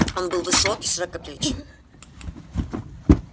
он был высок и широкоплеч